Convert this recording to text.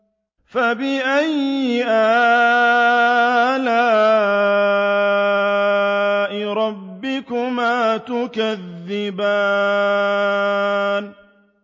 فَبِأَيِّ آلَاءِ رَبِّكُمَا تُكَذِّبَانِ